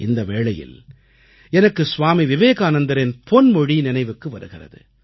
இந்த வேளையில் எனக்கு சுவாமி விவேகானந்தரின் பொன்மொழி நினைவுக்கு வருகிறது